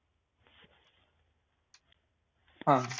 हा.